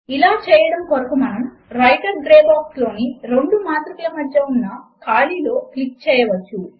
ఇలా చేయడము కొరకు మనము వ్రైటర్ గ్రే బాక్స్ లోని రెండు మాత్రికల మధ్య ఉన్న ఖాళీ లో క్లిక్ చేయవచ్చు